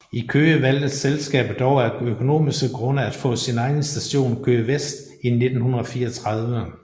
I Køge valgte selskabet dog af økonomiske grunde at få sin egen station Køge Vest i 1934